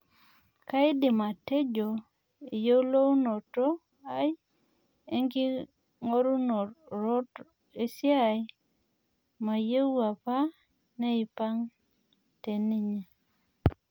Kaidim atejo eyioloto ai enking'oronot esiai mayoieu apa neipang' teninye